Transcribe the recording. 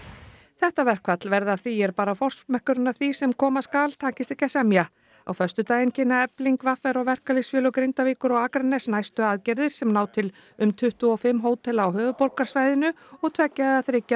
þetta verkfall verði af því er bara forsmekkurinn að því sem koma skal takist ekki að semja á föstudaginn kynna Efling v r og verkalýðsfélög Grindavíkur og Akraness næstu aðgerðir sem ná til um tuttugu og fimm hótela á höfuðborgarsvæðinu og tveggja eða þriggja